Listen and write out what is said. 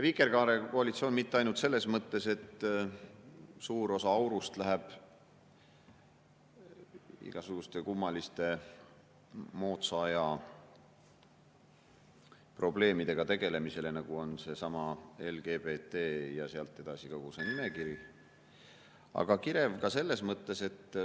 Vikerkaarekoalitsioon mitte ainult selles mõttes, et suur osa aurust läheb igasuguste kummaliste moodsa aja probleemidega tegelemisele, nagu on seesama LGBT ja sealt edasi kogu see nimekiri, vaid kirev ka selles mõttes …